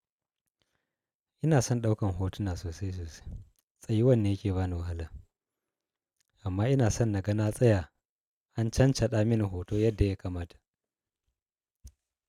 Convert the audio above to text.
Ina son ɗaukan hotuna sosai sosai, tsayuwan ne yake bani wahala. Amma ina son na ga na tsaya an cancaɗa mini hoto yadda ya kamata.